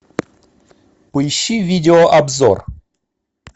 поищи видеообзор